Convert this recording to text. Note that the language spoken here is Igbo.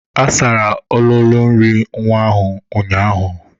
A sara ololo nri nwa ọhụrụ ụnyaahụ.